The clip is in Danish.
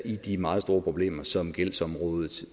i de meget store problemer som gældsområdet